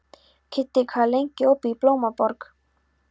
Kiddi, hvað er lengi opið í Blómaborg?